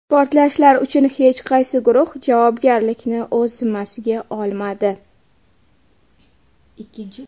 Portlashlar uchun hech qaysi guruh javobgarlikni o‘z zimmasiga olmadi.